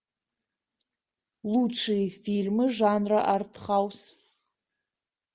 лучшие фильмы жанра артхаус